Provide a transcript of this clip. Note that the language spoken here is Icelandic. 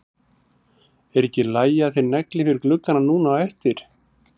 Er ekki í lagi að þeir negli fyrir gluggana núna á eftir?